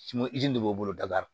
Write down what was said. de b'o bolo daga